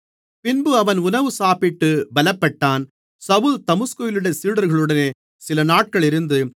பின்பு அவன் உணவு சாப்பிட்டு பலப்பட்டான் சவுல் தமஸ்குவிலுள்ள சீடர்களுடனே சிலநாட்கள் இருந்து